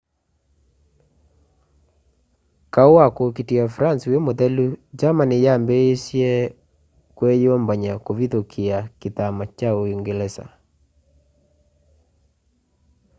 kaũ wa kũũkitĩa france wĩ mũthelu germany yaambĩsye kwiyũmbany'a kuvithukia kithama kya uungelesa